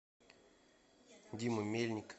дима мельник